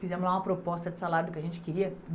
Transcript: Fizemos lá uma proposta de salário que a gente queria.